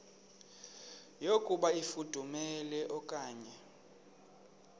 yokuba ifudumele okanye